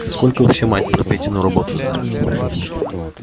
сколько вообще мать про петину работу знает